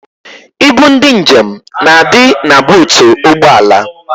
Ibu ndị njem na-adị na buutu ụgbọala